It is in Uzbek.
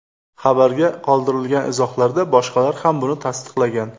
Xabarga qoldirilgan izohlarda boshqalar ham buni tasdiqlagan.